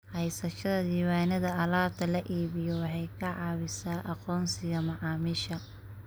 Haysashada diiwaannada alaabta la iibiyo waxay ka caawisaa aqoonsiga macaamiisha.